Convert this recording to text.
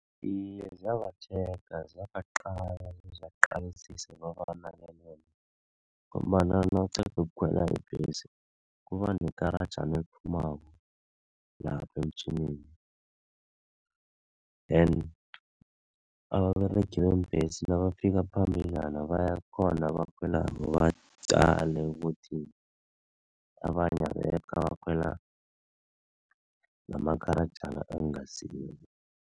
Iye, ziyabatjhega ziyabaqala bezibaqalisise kobana ngombana nawuqeda ukukhwela ibhesi kuba nekarajana eliphumako lapha emtjhinini then ababeregi beembhesi nabafika phambili baqale ukuthi abanye abekho abakhwela namakarajana engasiwo.